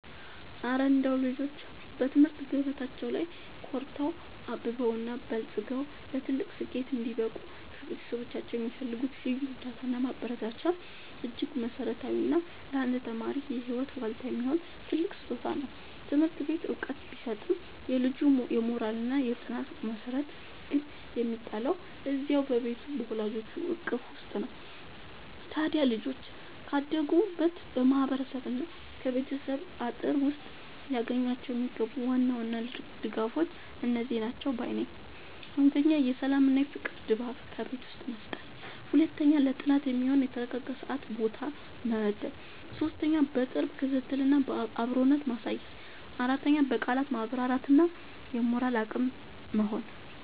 እረ እንደው ልጆች በትምህርት ገበታቸው ላይ ኮርተው፣ አብበውና በልጽገው ለትልቅ ስኬት እንዲበቁ ከቤተሰቦቻቸው የሚፈልጉት ልዩ እርዳታና ማበረታቻማ እጅግ መሠረታዊና ለአንድ ተማሪ የህይወት ዋልታ የሚሆን ትልቅ ስጦታ ነው! ትምህርት ቤት ዕውቀት ቢሰጥም፣ የልጁ የሞራልና የጥናት መሠረት ግን የሚጣለው እዚያው በቤቱ በወላጆቹ እቅፍ ውስጥ ነው። ታዲያ ልጆች ካደጉበት ማህበረሰብና ከቤተሰብ አጥር ውስጥ ሊያገኟቸው የሚገቡ ዋና ዋና ልዩ ድጋፎች እነዚህ ናቸው ባይ ነኝ፦ 1. የሰላምና የፍቅር ድባብ በቤት ውስጥ መፍጠር 2. ለጥናት የሚሆን የተረጋጋ ሰዓትና ቦታ መመደብ 3. የቅርብ ክትትልና አብሮነት ማሳየት 4. በቃላት ማበረታታት እና የሞራል አቅም መሆን